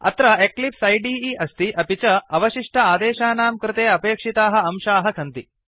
अत्र एक्लिप्स इदे अस्ति अपि च अवशिष्ट अदेशानां कृते अपेक्षिताः अंशाः सन्ति